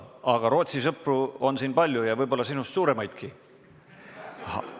Aga Rootsi sõpru on siin palju ja võib-olla sinust suuremaidki.